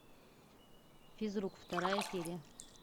физрук вторая серия